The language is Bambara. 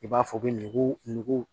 I b'a fɔ u bɛ nugu nugu